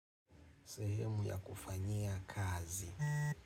Sehemu ya kufanyia kazi.